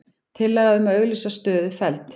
Tillaga um að auglýsa stöðu felld